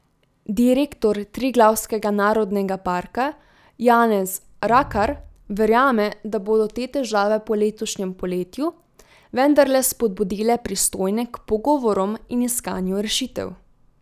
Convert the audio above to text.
Direktor Triglavskega narodnega parka Janez Rakar verjame, da bodo te težave po letošnjem poletju vendarle spodbudile pristojne k pogovorom in iskanju rešitev.